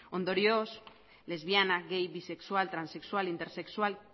ondorioz lesbiana gay bisexual transexual intersexual